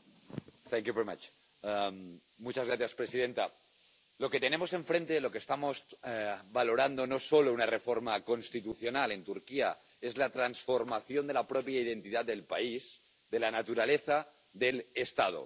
Señora presidenta, lo que tenemos enfrente, lo que estamos valorando no es solo una reforma constitucional en Turquía es la transformación de la propia identidad del país, de la naturaleza del Estado.